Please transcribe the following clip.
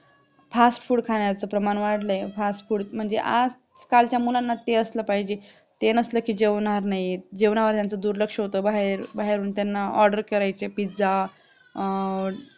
fastfood खाण्याचं प्रमाण वाढलंय fast food म्हणजे आजकाल च्या मुलांना ते असलं पाहिजे म्हणजे ते नसलं कि जेवणार नाही जेवणावर त्यांचं दुर्लक्ष होत बाहेर बाहेरून त्यांना order करायचे pizza